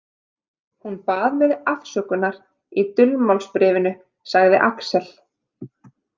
Hún bað mig afsökunar í dulmálsbréfinu, sagði Alex.